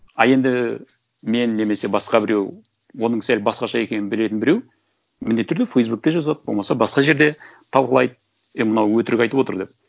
а енді мен немесе басқа біреу оның сәл басқаша екенін білетін біреу міндетті түрде фейсбукте жазады болмаса басқа жерде талқылайды е мынау өтірік айтып отыр деп